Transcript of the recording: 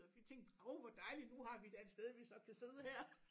Og vi tænkte oh hvor dejligt nu har vi da et sted vi så kan sidde her